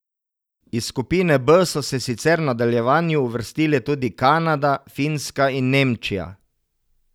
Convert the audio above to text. Iz skupine B so se sicer v nadaljevanje uvrstile tudi Kanada, Finska in Nemčija.